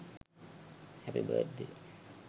happy birth day